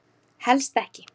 Helst ekki.